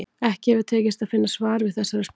Ekki hefur tekist að finna svar við þessari spurningu.